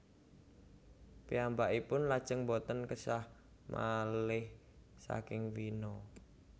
Piyambakipun lajeng boten késah malih saking Wina